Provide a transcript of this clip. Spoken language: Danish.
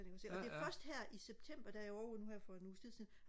og det er først her i september da jeg var ovre nu her for en uges tid siden